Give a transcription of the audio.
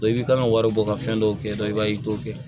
i bɛ kan ka wari bɔ ka fɛn dɔw kɛ dɔn i b'a ye i t'o kɛ